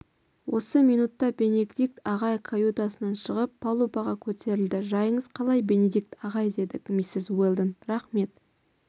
осы минутта бенедикт ағай каютасынан шығып палубаға көтерілді жайыңыз қалай бенедикт ағай деді миссис уэлдон рақмет